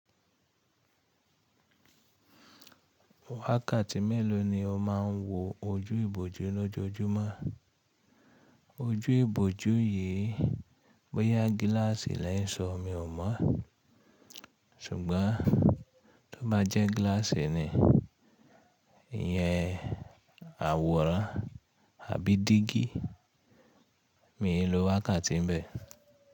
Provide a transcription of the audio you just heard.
Wákàtí mélòó ni o máa ń wo ojú ìbòjú ní ojojúmọ́? Ojú ìbòjú yìí, bóyá gíláàsì lẹ́ ń sọ, mi ò mọ̀, ṣùgbọ́n tó bá jẹ́ gíláàsì ni, ìyẹn àwòrán àbí dígí, mi ò lo wákàtí ń bẹ.